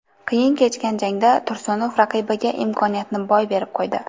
Qiyin kechgan jangda Tursunov raqibiga imkoniyatni boy berib qo‘ydi.